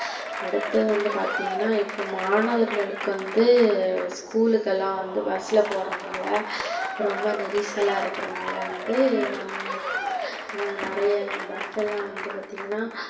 அடுத்து வந்து பார்த்திங்கனா இப்ப மாணவர்களுக்கு வந்து school ளுக்கெல்லாம் வந்து bus ல போறனால, ரொம்ப நெரிசலா இருக்கிறனால வந்து நெறைய bus லாம் வந்து பார்த்திங்கனா,